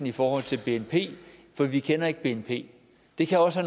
i forhold til bnp for vi kender ikke bnp det kan også